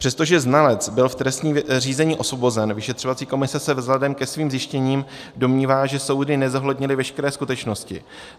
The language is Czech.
Přestože znalec byl v trestním řízení osvobozen, vyšetřovací komise se vzhledem ke svým zjištěním domnívá, že soudy nezohlednily veškeré skutečnosti.